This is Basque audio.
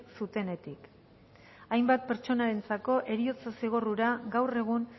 zutenetik hainbat pertsonentzako heriotza zigor ura gaur egun